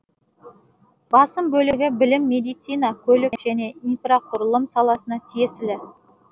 басым бөлігі білім медицина көлік және инфрақұрылым саласына тиесілі